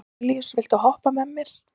Danelíus, viltu hoppa með mér?